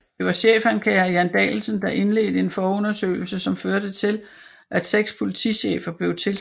Det var chefanklager Jan Danielsson der indledte en forundersøgelse som førte til at 6 politichefer blev tiltalt